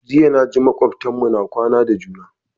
Jiya na ji makwabtan mu na kwana da juna